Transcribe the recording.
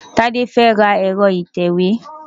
Tade fẹ́ ra ẹ̀rọ ìtẹ̀wé.